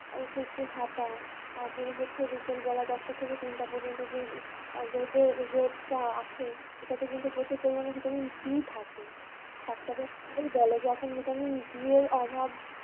অবশই একটু হাঁটা, তারপরে হচ্ছে বিকালবেলা দশটা থেকে তিনটা পর্যন্ত যেই, আর রোদও রোদটা আসে, এটাতে কিন্তু প্রচুর পরিমানে vitamin D থাকে, ডাক্তাররাও তো সেটাই বলে যে এখন vitamin D এর অভাব